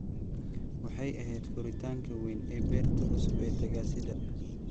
Waxay ahayd furitaanka weyn ee beerta cusub ee tagaasida.